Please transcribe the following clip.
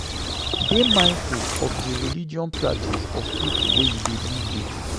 Dey mindful of di religious practice of di people wey you dey live with